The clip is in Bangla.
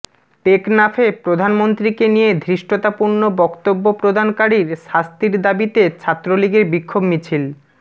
টেকনাফে প্রধানমন্ত্রীকে নিয়ে ধৃষ্টতাপূর্ণ বক্তব্য প্রদানকারির শাস্তির দাবিতে ছাত্রলীগের বিক্ষোভ মিছিল